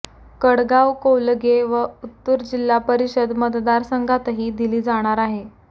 कडगाव कौलगे व उत्तूर जिल्हा परिषद मतदारसंघातही दिली जाणार आहेत